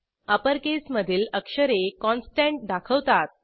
upper केसमधील अक्षरे constant दाखवतात